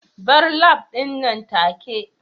bar lab din nan take